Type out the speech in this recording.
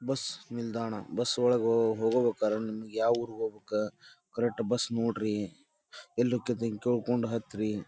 Bus ನಿಲ್ದಾಣ bus ಒಳಗ ಹೋ ಹೋಗುಬೇಕಾರ ನಿಮ್ಗ ಯಾವೂರಿಗ್ ಹೋಬೇಕ ಕರೆಟ್ ಬಸ್ ನೋಡ್ರಿ ಎಲ್ ಹೊಕ್ಕೈತಿ ಅಂತ ಕೇಳ್ಕೊಂಡ್ ಹತ್ರಿ .